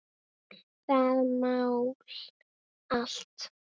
Það mál allt.